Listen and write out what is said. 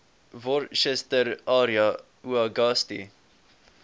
worcester area uagasti